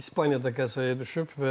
İspaniyada qəzaya düşüb.